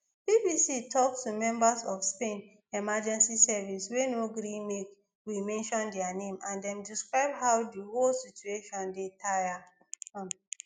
bbc tok to members of spain emergency services wey no gree make we mention dia name dem describe how di whole situation dey tire um